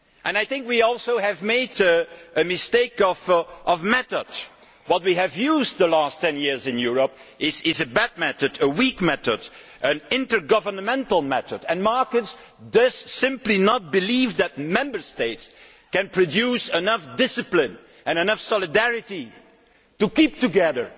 I think we also made a mistake of method. What we have used over the last 10 years in Europe is a bad method, a weak method, an intergovernmental method, and markets simply do not believe that Member States can produce enough discipline and enough solidarity to keep together